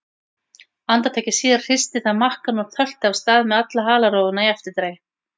Andartaki síðar hristi það makkann og tölti af stað með alla halarófuna í eftirdragi.